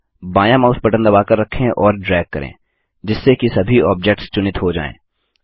अब बायाँ mouse button दबाकर रखें और ड्रैग करें जिससे कि सभी ऑब्जेक्ट्स चुनित हो जाएँ